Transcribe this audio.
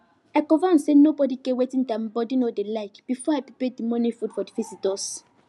i confirm say nobody get wetin dem body no dey like before i prepare the morning food for the visitors